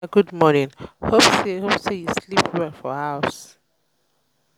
ada good morning. hope say you hope say you sleep well for house